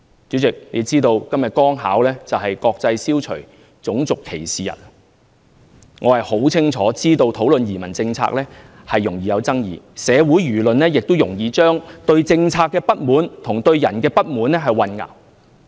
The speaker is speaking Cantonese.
主席，大家是否知道今天剛巧是"國際消除種族歧視日"，我很清楚知道討論移民政策容易引起爭議，社會輿論亦容易將對政策的不滿和對人的不滿混淆。